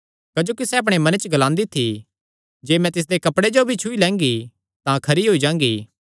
क्जोकि सैह़ अपणे मने च ग्लांदी थी जे मैं तिसदे कपड़े जो ई छुई लैंगी तां खरी होई जांगी